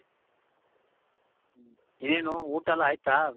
ಏನು ಊಟ ಎಲ್ಲಾ ಆಯ್ತಾ ?